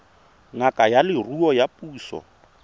ngaka ya leruo ya puso